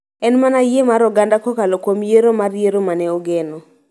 En mana yie mar oganda kokalo kuom yiero mar yiero ma ne ogeno